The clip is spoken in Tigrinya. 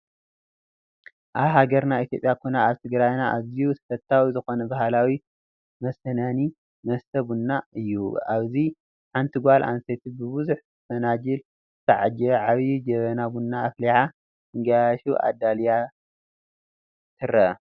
ኣብ ሃገርና ኢ/ያ ኮነ ኣብ ትግራይና ኣዝዩ ተፈታዊ ዝኾነ ባህላዊ መስናነይ መስተ ቡና እዩ፡፡ ኣብዚ ሓንቲ ጓል ኣነስተይቲ ብቡዙሕ ፈናጅል ዝተዓጀበ ዓብይ ጀበና ቡና ኣፍሊሓ ንጋያሹ ኣዳልያን ትረአ፡፡